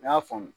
N y'a faamu